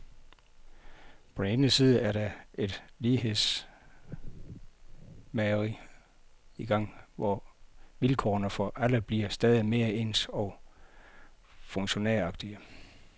På den ene side er der et lighedsmageri i gang, hvor vilkårene for alle bliver stadig mere ens og funktionæragtige.